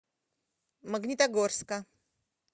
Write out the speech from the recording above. магнитогорска